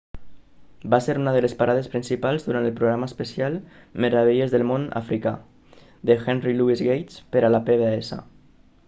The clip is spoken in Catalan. va ser una de les parades principals durant el programa especial meravelles del món africà de henry louis gates per a la pbs